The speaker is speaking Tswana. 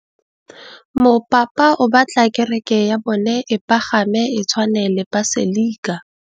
Mopapa o batla kereke ya bone e pagame, e tshwane le paselika.